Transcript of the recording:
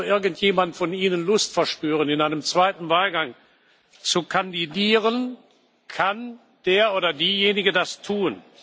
Sollte also irgendjemand von Ihnen Lust verspüren, in einem zweiten Wahlgang zu kandidieren, kann der oder diejenige das tun.